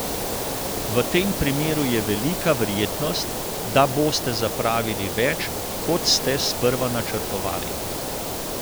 V tem primeru je velika verjetnost, da boste zapravili več, kot ste sprva načrtovali.